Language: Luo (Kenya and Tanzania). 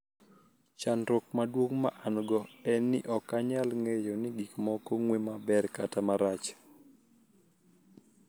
Chanidruok maduonig' ma ani-go eni nii ok aniyal nig'eyo nii gik moko nig'we maber kata marach.